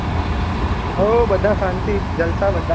હો બધા શાંતિ જલસા બધા